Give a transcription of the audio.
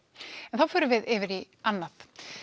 en þá förum við yfir í annað